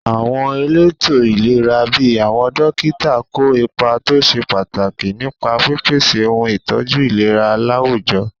Àwọn elétò ìlera bíi àwọn dókítà kó ipa tó ṣe pàtàkì nípa pípèsè ohun ìtọ́jú ìlera láwùjọ.